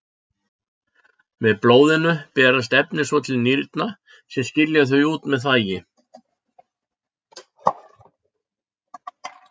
Með blóðinu berast efnin svo til nýrna sem skilja þau út með þvagi.